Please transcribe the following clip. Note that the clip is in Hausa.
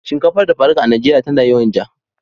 Shinkafar dafa duka a Najeriya tana yawan ja.